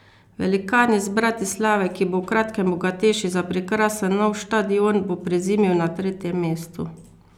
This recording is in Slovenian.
Velikan iz Bratislave, ki bo v kratkem bogatejši za prekrasen nov štadion, bo prezimil na tretjem mestu.